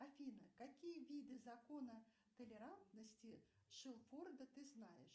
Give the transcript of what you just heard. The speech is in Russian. афина какие виды закона толерантности шелфорда ты знаешь